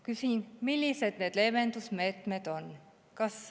Küsin: millised need leevendusmeetmed on?